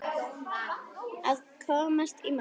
Að komast í mark